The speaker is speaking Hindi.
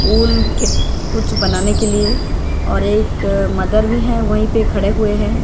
पुल के कुछ बनाने के लिए और एक मदर भी है वहीं पे खड़े हुए हैं।